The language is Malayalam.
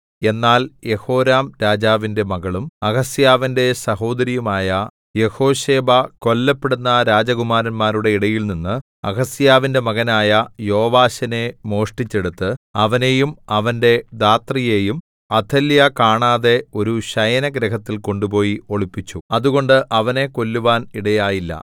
എന്നാൽ യെഹോരാം രാജാവിന്റെ മകളും അഹസ്യാവിന്റെ സഹോദരിയുമായ യെഹോശേബ കൊല്ലപ്പെടുന്ന രാജകുമാരന്മാരുടെ ഇടയിൽനിന്ന് അഹസ്യാവിന്റെ മകനായ യോവാശിനെ മോഷ്ടിച്ചെടുത്ത് അവനെയും അവന്റെ ധാത്രിയെയും അഥല്യാ കാണാതെ ഒരു ശയനഗൃഹത്തിൽ കൊണ്ടുപോയി ഒളിപ്പിച്ചു അതുകൊണ്ട് അവനെ കൊല്ലുവാൻ ഇടയായില്ല